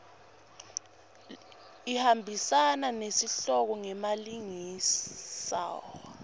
ihambisana nesihloko ngemalengiso